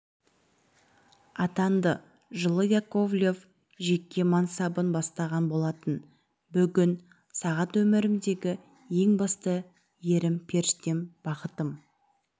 атанды жылы яковлев жеке мансабын бастаған болатын бүгін сағат өмірімдегі ең басты ерім періштем бақытым